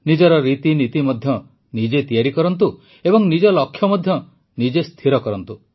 ନିଜର ରୀତିନୀତି ମଧ୍ୟ ନିଜେ ତିଆରି କରନ୍ତୁ ଏବଂ ନିଜ ଲକ୍ଷ୍ୟ ମଧ୍ୟ ନିଜେ ସ୍ଥିର କରନ୍ତୁ